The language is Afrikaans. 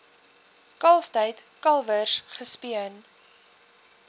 kalftyd kalwers gespeen